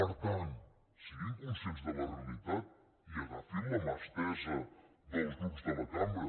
per tant siguin conscients de la realitat i agafin la mà estesa dels grups de la cambra